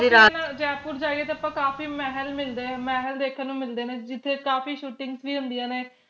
ਜੇ ਆਪਾ ਜੈਪੁਰ ਜਾਈਏ ਤਾ ਆਪਾਂ ਕਾਫੀ ਮਹਲ ਮਿਲਦੇ ਆ ਮਹਲ ਦੇਖਣ ਨੂੰ ਮਿਲਦੇ ਨੇ ਜਿਥੇ ਕਾਫੀ shootings ਵੀ ਹੁੰਦੀਆ ਨੇ